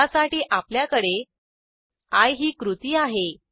त्यासाठी आपल्याकडे आय ही कृती आहे